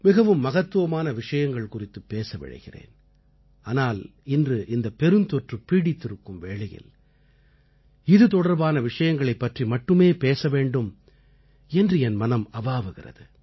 மிகவும் மகத்துவமான விஷயங்கள் குறித்துப் பேச விழைகிறேன் ஆனால் இன்று இந்த பெருந்தொற்று பீடித்திருக்கும் வேளையில் இது தொடர்பான விஷயங்களைப் பற்றி மட்டுமே பேச வேண்டும் என்று என் மனம் அவாவுகிறது